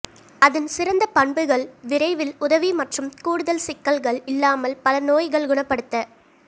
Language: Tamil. அதன் சிறந்த பண்புகள் விரைவில் உதவி மற்றும் கூடுதல் சிக்கல்கள் இல்லாமல் பல நோய்கள் குணப்படுத்த